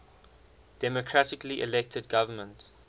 democratically elected government